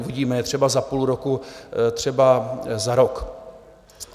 Uvidíme je třeba za půl roku, třeba za rok.